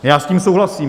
Já s tím souhlasím.